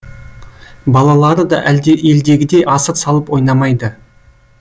балалары да елдегідей асыр салып ойнамайды